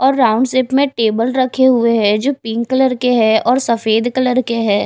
और round shape में table रखे हुए हैं जो पिंक कलर के हैं और सफेद कलर के हैं।